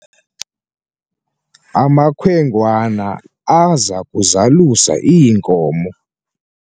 amakhwenkwana aza kuzalusa iinkomo